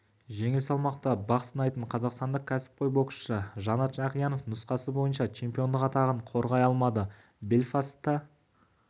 жеңіл салмақта бақ сынайтын қазақстандық кәсіпқой боксшы жанат жақиянов нұсқасы бойынша чемпиондық атағын қорғай алмады белфастта